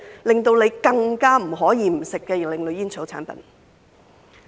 便是令人更不可不吸食的另類煙草產品。